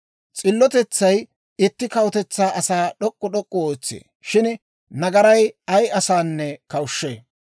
S'illotetsay itti kawutetsaa asaa d'ok'k'u d'ok'k'u ootsee; shin nagaray ay asanne kawushshee.